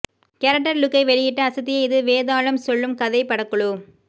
character லுக்கை வெளியிட்டு அசத்திய இது வேதாளம் சொல்லும் கதை படக்குழு